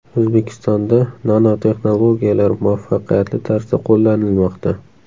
O‘zbekistonda nanotexnologiyalar muvaffaqiyatli tarzda qo‘llanilmoqda.